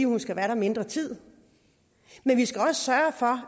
hun skal være der mindre tid men vi skal også sørge for